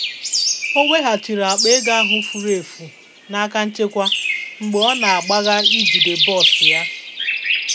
Ọ weghachiri akpa ego ahụ furu efu n'aka nchekwa mgbe ọ na-agbaga ijide bọs ya.